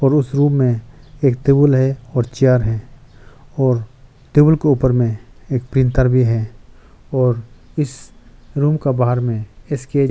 और उस रूम में एक टेबुल है और चेयर है और टेबुल के ऊपर में एक प्रिंटर भी है और इस रूम का बाहर इसके --